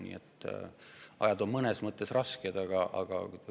Nii et ajad on mõnes mõttes rasked.